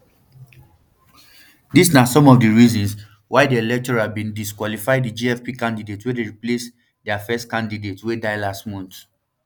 dis na some of di reasons why di electoral bin disqualify di gfp candidate wey dey replace dia first candidate wey die last month